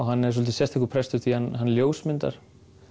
hann er svolítið sérstakur prestur því hann ljósmyndar